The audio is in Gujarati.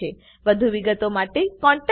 વધુ વિગતો માટે contactspoken tutorialorg પર લખો